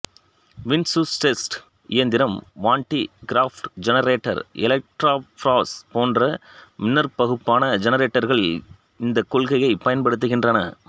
விம்சுஸ்டெஸ்ட் இயந்திரம் Van de Graaff generator electrophorus போன்ற மின்னாற்பகுப்பான ஜெனரேட்டர்கள் இந்த கொள்கையைப் பயன்படுத்துகின்றன